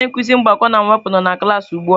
Onye nkuzi mgbakọ na mwepụ nọ na klaasị ugbu a.